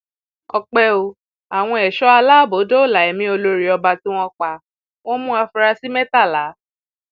ọpẹ ò àwọn ẹṣọ aláàbò dóòlà ẹmí olórí ọba tí wọn pa wọn mú àfúrásì mẹtàlá